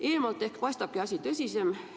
Eemalt ehk paistabki asi tõsisem.